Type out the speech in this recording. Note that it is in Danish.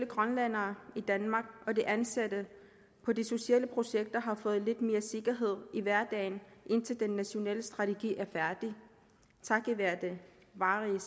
grønlændere i danmark og de ansatte på de sociale projekter har fået lidt mere sikkerhed i hverdagen indtil den nationale strategi er færdig takket være det varige